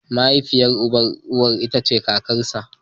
Mahaifiyar uban ka ko uwa ita ce kakarka.